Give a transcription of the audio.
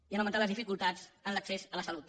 i han augmentat les dificultats en l’accés a la salut